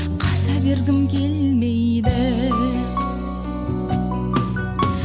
қаза бергім келмейді